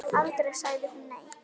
Aldrei sagði hún nei.